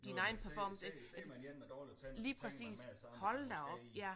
Så ser ser ser man en med dårlige tænder så tænker man med det samme det er det måske en